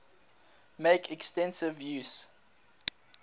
make extensive use